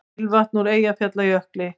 Ilmvatn úr Eyjafjallajökli